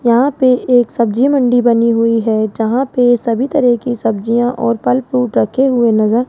यहां पे एक सब्जी मंडी बनी हुई है जहां पे सभी तरह की सब्जियां और फल फ्रूट रखे हुए नजर--